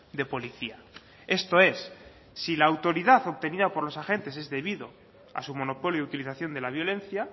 de policía esto es si la autoridad obtenida por los agentes es debido a su monopolio utilización de la violencia